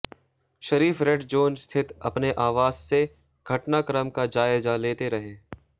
शरीफ red zone स्थित अपने आवास से घटनाक्रम का जायजा लेते रहे